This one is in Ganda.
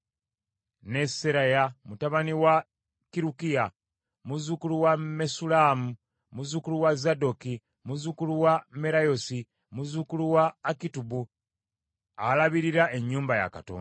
ne Seraya mutabani wa Kirukiya, muzzukulu wa Mesullamu, muzzukulu wa Zadooki, muzzukulu wa Merayoosi, muzzukulu wa Akitubu, alabirira ennyumba ya Katonda,